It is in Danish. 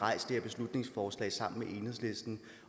beslutningsforslag sammen med enhedslisten